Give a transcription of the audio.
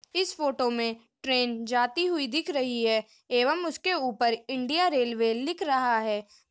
इस फोटो में ट्रेन जाती हुए दिख रही है एवं उसके ऊपर इंडिया रेलवे लिख रहा है।